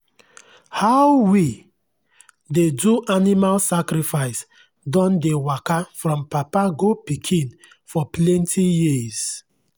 how we dey do animal sacrifice don dey waka from papa go pikin for plenty years.